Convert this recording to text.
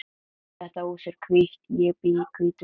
Þetta hús er hvítt. Ég bý í hvítu húsi.